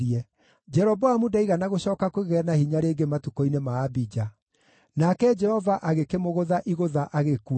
Jeroboamu ndaigana gũcooka kũgĩa na hinya rĩngĩ matukũ-inĩ ma Abija. Nake Jehova agĩkĩmũgũtha igũtha agĩkua.